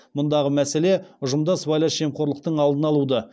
мұндағы мәселе ұжымда сыбайлас жемқорлықтың алдын алуды